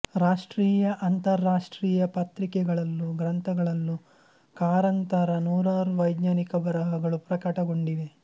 ರಾಷ್ಟ್ರೀಯಅಂತರರಾಷ್ಟ್ರೀಯ ಪತ್ರಿಕೆಗಳಲ್ಲೂ ಗ್ರಂಥಗಳಲ್ಲೂ ಕಾರಂತರ ನೂರಾರು ವೈಜ್ಞಾನಿಕ ಬರಹಗಳು ಪ್ರಕಟಗೊಂಡಿವೆ